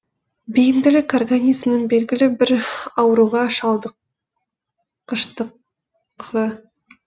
бейімділік организмнің белгілі бір ауруға шалдыққыштығы